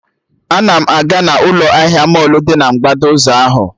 Ana m aga na ụlọ ahịa mọlụ dị na mgbada ụzọ ahụ